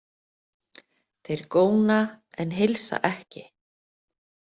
Þeir góna en heilsa ekki.